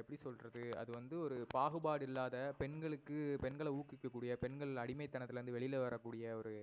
எப்படி சொல்றது அது வந்து ஒரு பாகுபாடு இல்லாத பெண்களுக்கு பெண்கள ஊக்கவிக்ககூடிய, பெண்கள் அடிமைத்தனத்துல இருந்து வெளில வரகூடிய ஒரு